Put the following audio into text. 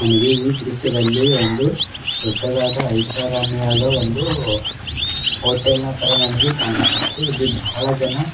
ನನಗೆ ಈ ದ್ರಶ್ಯದಲ್ಲಿ ಒಂದು ದೊಡ್ಡದಾದ ಐಷಾರಾಮಿಯಾದ ಒಂದು ಹೋಟೆಲ್ ನ ತರಹ ನನಗೆ ಕಾಣಿಸುತ್ತೆ ಇಲ್ಲಿ ಬಹಳ ಜನ --